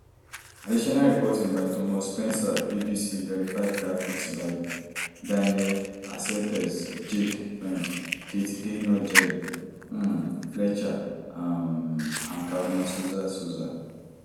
additional reporting by thomas spencer bbc verify graphics by daniel arcelpez jake friend kate gaynor gerry um fletcher um and caroline souza souza